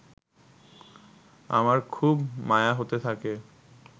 আমার খুব মায়া হতে থাকে